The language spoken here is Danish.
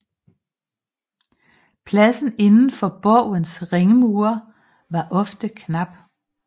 Pladsen inden for borgens ringmure var ofte knap